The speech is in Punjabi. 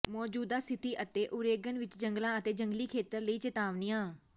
ਮੌਜੂਦਾ ਸਥਿਤੀ ਅਤੇ ਓਰੇਗਨ ਵਿੱਚ ਜੰਗਲਾਂ ਅਤੇ ਜੰਗਲੀ ਖੇਤਰਾਂ ਲਈ ਚੇਤਾਵਨੀਆਂ